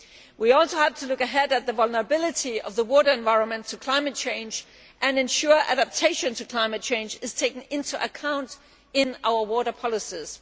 We also have to look ahead at the vulnerability of the water environment to climate change and ensure that adaptation to climate change is taken into account in our water policies.